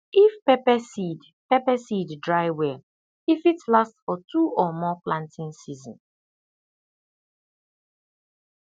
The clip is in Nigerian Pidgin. if pepper seed pepper seed dry well e fit last for two or more planting season